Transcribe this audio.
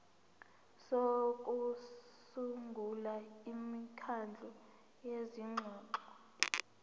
sokusungula imikhandlu yezingxoxo